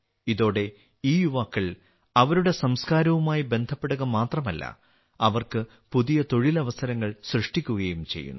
ഇതോടെ ഈ യുവാക്കൾ അവരുടെ സംസ്കാരവുമായി ബന്ധപ്പെടുക മാത്രമല്ല അവർക്ക് പുതിയ തൊഴിലവസരങ്ങൾ സൃഷ്ടിക്കുകയും ചെയ്യുന്നു